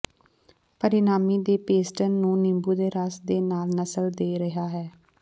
ਪਰਿਣਾਮੀ ਦੇ ਪੇਸਟਨ ਨੂੰ ਨਿੰਬੂ ਦਾ ਰਸ ਦੇ ਨਾਲ ਨਸਲ ਦੇ ਰਿਹਾ ਹੈ